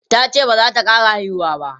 tace bazata ƙara haihuwa ba